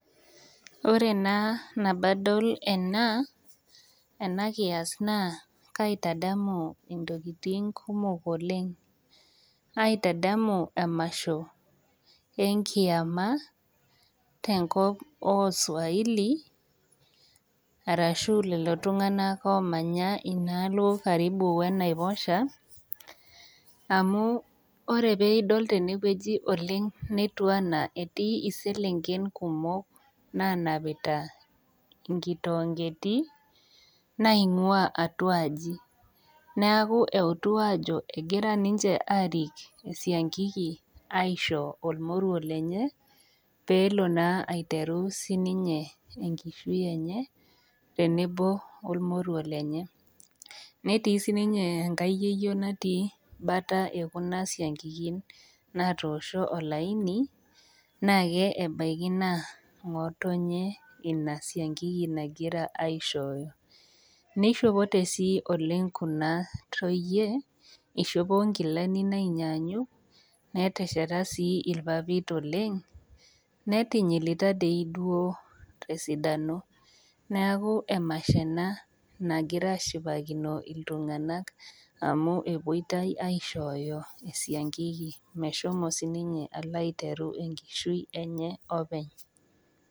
Wore naa nemadol ena, ena kias naa kaitadamu intokitin kumok oleng'. Kaitadamu emasho enkiama, tenkop ooswahili, arashu lelo tunganak oomanya inaalo karibu enaiposha, amu wore pee idol tenewoji oleng' netiu enaa etii iselenken kumok naanapita inkitoongiti, naingua atua aji. Neeku eutu aajo ekira ninche aarik esiankiki aisho olmoruo lenye, peelo naa aiteru sininye enkishui enye, tenebo olmoruo lenye. Netii sininye enkae yieyio natii bata ekuna siankikin natoosho olaini, naake ebaiki naa ngotonye inia siankiki nakira aishooyo. Nishopoite sii oleng' kuna toyie, ishopo inkilani naanyanyuk, netesheta sii irpapit oleng', netinyilita dei duo tesidano. Neeku emasho ena nakira aashipakino iltunganak amu epoitoi aishooyo esiankiki meshomo sininye alo aiteru enkishui enye openy.